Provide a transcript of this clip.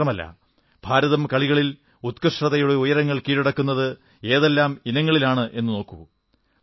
ഇത്രമാത്രമല്ല ഭാരതം കളികളിൽ ഉത്കൃഷ്ടതയുടെ ഉയരങ്ങൾ കീഴടക്കുന്നത് ഏതെല്ലാം ഇനങ്ങളിലെന്നു നോക്കൂ